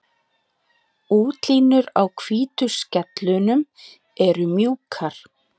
Útlínur á hvítu skellunum eru mjúkar.